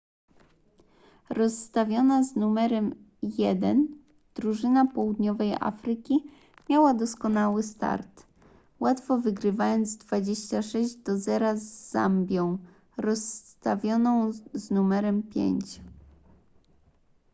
rozstawiona z numerem 1 drużyna południowej afryki miała doskonały start łatwo wygrywając 26 do zera z zambią rozstawioną z numerem 5